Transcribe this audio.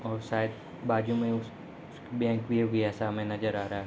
और शायद बाजू में उस उस बैंक भी होगी ऐसा हमें नज़र आ रहा।